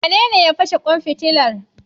Wanene ya fashe kwan fitila?